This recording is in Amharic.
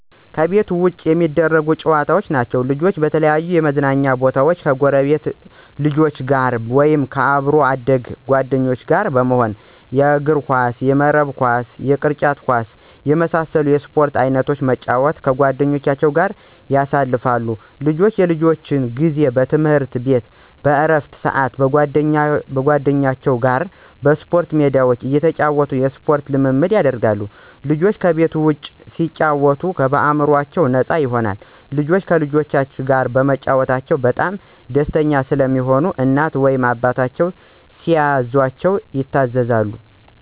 ከቤት ውጭ የሚደረጉ ጨዋታዎች ናቸዉ። ልጆች በተለያዩ የመዝናኛ ቦታወች ከጎረቤት ልጆች ጋር ወይም ከአብሮ አደግ ጓደኞቻቸው ጋር በመሆን የእግርኳስ፣ የመረብ ኳስ፣ የቅርጫት ኳስ እና የመሳሰሉትን የስፖርት አይነቶች በመጫወት ከጓደኞቻቸው ጋር ያሳልፋሉ። ልጆች የልጅነት ጊዜ በትምህርት ቤት በእረፍት ስአት ከጓደኞቻቸው ጋር በስፖርት ሜዳቸው እየተጫወቱ የስፖርት ልምምድ ያደርጋሉ። ልጆች ከቤት ውጭ ሲጫወቱ አእምሮአቸው ነፃ ይሆናል። ልጆች ከጓደኞቻቸው ጋር በመጫወታቸው በጣም ደስተኛ ስለሚሆኑ እናት ወይም አባታቸው ሲያዛቸው ይታዘዛሉ።